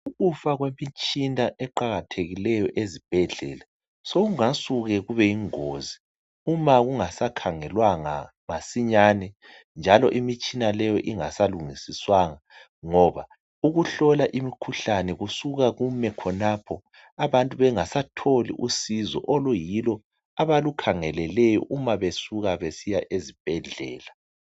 Ukufa kwemitshina eqakathekileyo ezibhedlela, sokungasuke kube yingozi. Uma kungasakhangelwanga masinyane, njalo imitshina leyo, ingasalungisiswanga. Ngoba ukuhlola imikhuhlane, kusuka kume khonapho, Abantu bengasatholi usizo oluyilo abalukhangeleleyo, uma besuka besiya ezibhedlela.